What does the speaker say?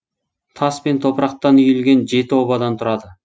тас пен топырақтан үйілген жеті обадан тұрады